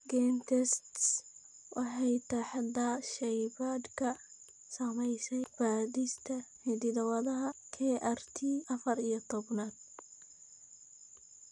GeneTests waxay taxdaa shaybaadhka sameeya baadhista hidda-wadaha ee KRT afaar iyo tobaan.